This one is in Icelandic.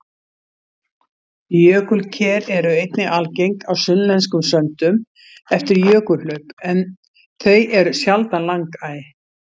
Jökulker eru einnig algeng á sunnlenskum söndum eftir jökulhlaup en þau eru sjaldan langæ.